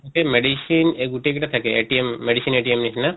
medicine এ গোটেই কেটা থাকে medicine নিছিনা